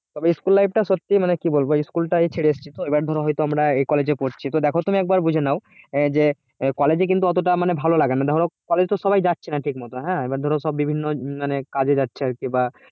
তবে school life টা সত্যি মানে কি বলব school টাকে ছেড়ে এসেছি এবার ধরা হয়তো আমরা এই কলেজে পড়ছি দেখো তুমি একবার বুঝে নাও এই যে আহ কলেজে কিন্তু মানে অতটা ভালো লাগে না ধরো কলেজ তো সবাই যাচ্ছে না ঠিকমত হ্যাঁ এবার ধরা বিভিন্ন উম কাজে যাচ্ছে মানে আর কি আহ